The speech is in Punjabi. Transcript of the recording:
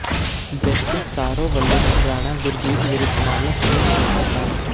ਜਸਟਿਸ ਸਾਰੋਂ ਵੱਲੋਂ ਰਾਣਾ ਗੁਰਜੀਤ ਵਿਰੁੱਧ ਮਾਮਲਾ ਸੁਣਨ ਤੋਂ ਇਨਕਾਰ